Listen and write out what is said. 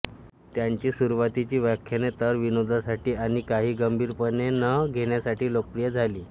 त्यांची सुरूवातीची व्याख्याने तर विनोदासाठी आणि काहीही गंभीरपणे न घेण्यासाठी लोकप्रिय झाली